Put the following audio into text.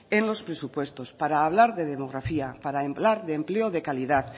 en los presupuestos para hablar de demografía para hablar de empleo de calidad